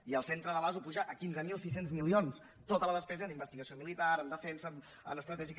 i el centre delàs ho puja a quinze mil sis cents milions tota la despesa en investigació militar en defensa en estratègia